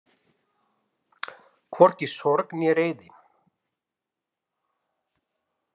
Hvorki sorg né reiði.